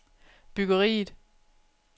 byggeriet